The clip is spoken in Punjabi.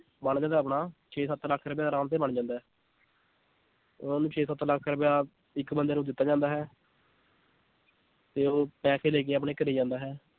ਬਣ ਜਾਂਦਾ ਆਪਣਾ ਛੇ ਸੱਤ ਲੱਖ ਰੁਪਇਆ ਆਰਾਮ ਤੇ ਬਣ ਜਾਂਦਾ ਹੈ ਛੇ ਸੱਤ ਲੱਖ ਰੁਪਇਆ ਇੱਕ ਬੰਦੇ ਨੂੰ ਦਿੱਤਾ ਜਾਂਦਾ ਹੈ ਤੇ ਉਹ ਪੈਸੇ ਲੈ ਕੇ ਆਪਣੇ ਘਰੇ ਜਾਂਦਾ ਹੈ।